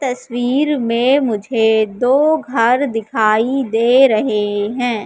तस्वीर में मुझे दो घर दिखाई दे रहे हैं।